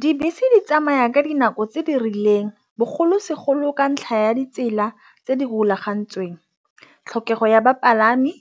Dibese di tsamaya ka dinako tse di rileng bogolosegolo ka ntlha ya ditsela tse di golagantsweng. Tlhokego ya bapalami